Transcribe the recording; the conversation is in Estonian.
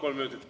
Kolm minutit.